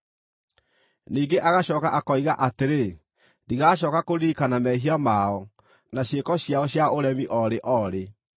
Ningĩ agacooka akoiga atĩrĩ: “Ndigacooka kũririkana mehia mao na ciĩko ciao cia ũremi o rĩ o rĩ.”